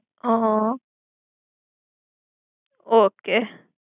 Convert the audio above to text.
હ હ ઑકે